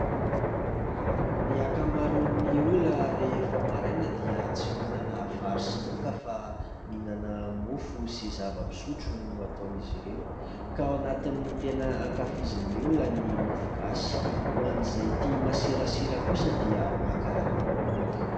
Ny ankamaroan'ny olona rehefa maraina dia tsy mihinana vary sy laoka fa mihinana mofo sy zava-pisotro no ataon'izy ireo ka ao anatin'ny tena hankafizin'ny olona ny mofogasy, ho an'izay tia masirasira kosa dia maka ramanonaka.